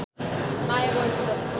माया बढोस् जसको